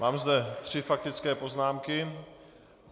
Mám zde tři faktické poznámky.